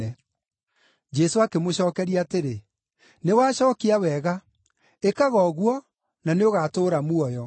Jesũ akĩmũcookeria atĩrĩ, “Nĩ wacookia wega; ĩkaga ũguo, na nĩũgatũũra muoyo.”